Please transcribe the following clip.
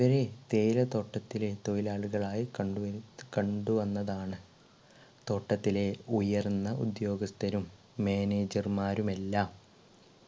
ഇവരെ തേയില തോട്ടത്തിലെ തൊഴിലാളികളായി കണ്ടു കണ്ടു എന്നതാണ് തോട്ടത്തിലെ ഉയർന്ന ഉദ്യോഗസ്‌ഥരും manager മാരും എല്ലാം